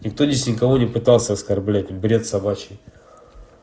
никто здесь никого не пытался оскорблять бред собачий